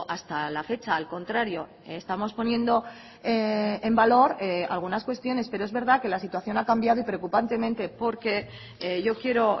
hasta la fecha al contrario estamos poniendo en valor algunas cuestiones pero es verdad que la situación ha cambiado y preocupantemente porque yo quiero